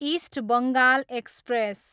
east Bengal express